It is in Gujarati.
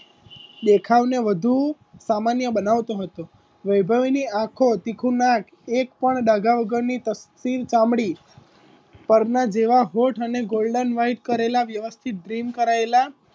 દેખાવને વધુ સામાન્ય બનાવતો હતો વૈભવી ની આખો તીખું નાક એક પણ ડાઘા વગરની તકતીર ચામડી પરના જેવા હોઠ અને golden white કરેલા વ્યવસ્થિત dream કરાયેલા